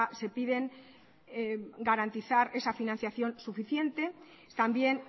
se piden garantizar esa financiación suficiente también